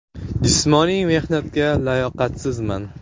Jismoniy mehnatga layoqatsizman.